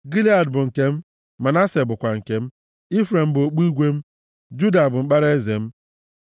Gilead bụ nke m, Manase bụkwa nke m; Ifrem bụ okpu igwe m, Juda bụ mkpara eze m.